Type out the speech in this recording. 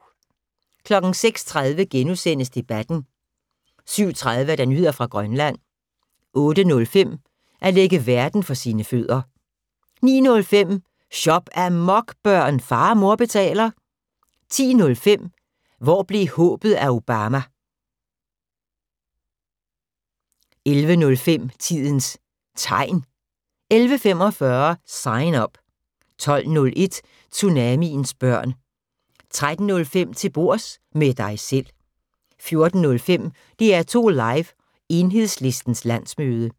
06:30: Debatten * 07:30: Nyheder fra Grønland 08:05: At lægge verden for sine fødder 09:05: Shop-amok, børn! Far og mor betaler 10:05: Hvor blev håbet af Obama? 11:05: Tidens Tegn 11:45: Sign Up 12:01: Tsunamiens børn 13:05: Til bords – med dig selv 14:05: DR2 Live: Enhedslistens landsmøde